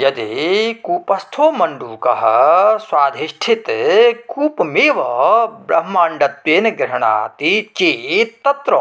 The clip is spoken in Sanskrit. यदि कृपस्थो मण्डूकः स्वाधिष्ठितकूपमेव ब्रह्माण्डत्वेन गृह्णाति चेत्तत्र